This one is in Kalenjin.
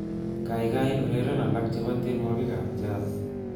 Kaikai ureren alak chebo tienwokikab Jazz